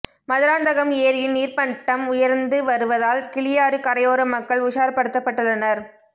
மதுராந்தகம் ஏரியின் நீர்மட்டம் உயர்ந்து வருவதால் கிளியாறு கரையோர மக்கள் உஷார்படுத்தப்பட்டுள்ளனர்